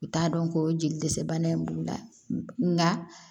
U t'a dɔn ko jeli dɛsɛ bana in b'u la nka